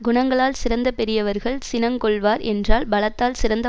குணங்களால் சிறந்த பெரியவர்கள் சினங்கொள்வார் என்றால் பலத்தால் சிறந்த